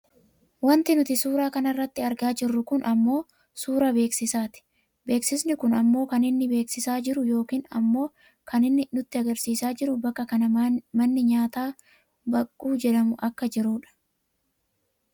Wanti nuti suuraa kanarratti argaa jirru kun ammoo suuraa beeksisaati. Beeksisni kun ammoo kan inni beeksisaa jiru yookaan ammoo kan inni nutti agarsiisaa jiru bakka kana manni nyaataa baqquu jedhamu akka jirudha.